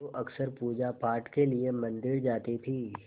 जो अक्सर पूजापाठ के लिए मंदिर जाती थीं